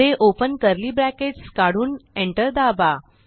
पुढे open curly bracket काढून enter दाबा